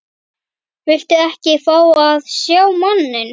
Viltu ekki fá að sjá manninn?